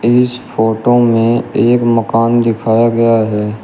इस फोटो में एक मकान दिखाया गया है।